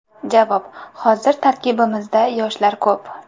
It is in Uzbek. Javob: Hozir tarkibimizda yoshlar ko‘p.